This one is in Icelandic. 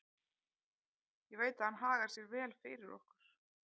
Ég veit að hann hagar sér vel fyrir okkur.